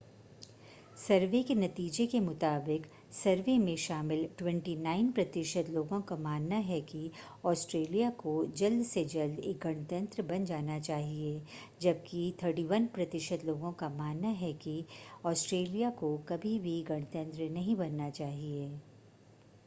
सर्वे के नतीजे के मुताबिक सर्वे में शामिल 29 प्रतिशत लोगों का मानना है कि ऑस्ट्रेलिया को जल्द से जल्द एक गणतंत्र बन जाना चाहिए जबकि 31 प्रतिशत लोगों का मानना है कि ऑस्ट्रेलिया को कभी भी गणतंत्र नहीं बनना चाहिए